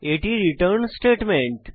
এটি return statement